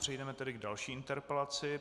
Přejdeme tedy k další interpelaci.